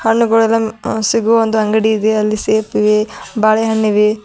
ಹಣ್ಣು ಬೆಳೆದಂಗ್ ಸಿಗುವ ಒಂದು ಅಂಗಡಿ ಇದೆ ಅಲ್ಲಿ ಸೇಬಿವೆ ಬಾಳೆಹಣ್ಣು ಇದೆ.